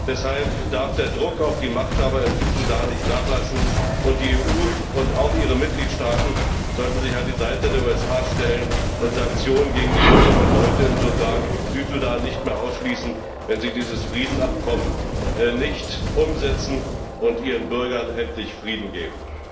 Deshalb darf der Druck auf die Machthaber im Südsudan nicht nachlassen, und die EU und auch ihre Mitgliedstaaten sollten sich an die Seite der USA stellen und Sanktionen gegen die führenden Leute im Südsudan nicht mehr ausschließen, wenn sie dieses Friedensabkommen nicht umsetzen und ihren Bürgern nicht endlich Frieden geben.